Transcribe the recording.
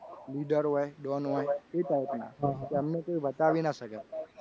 નીડર હોય don હોય એ type ના કે અમને કોઈ બતાવી ના શકે.